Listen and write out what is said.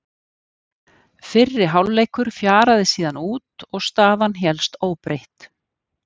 Fyrri hálfleikur fjaraði síðan út og staðan hélst óbreytt.